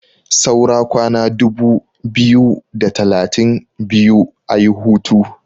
saura kwana dubu biyu da talatin biyu a yi hutu